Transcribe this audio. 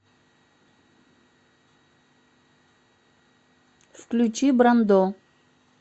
включи брандо